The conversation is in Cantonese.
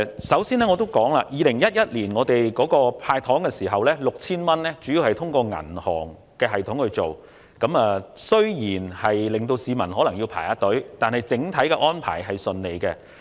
首先，政府於2011年向市民派發的 6,000 元，主要是透過銀行系統進行，雖然有部分市民須排隊領取，但整體安排是暢順的。